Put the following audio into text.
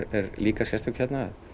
er líka sérstök hérna